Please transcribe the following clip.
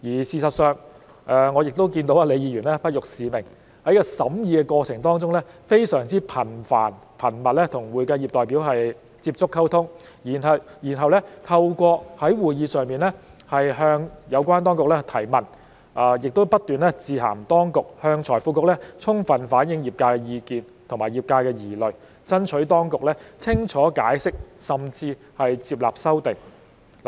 事實上，我也看到李議員不辱使命，在這個審議過程當中，她非常頻繁、頻密地與會計業的代表接觸、溝通，然後透過在會議上向有關當局提問，以及不斷致函當局向財經事務及庫務局充分反映業界的意見和疑慮，爭取當局清楚解釋，甚至是接納修訂。